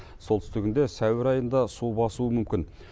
солтүстігінде сәуір айында су басуы мүмкін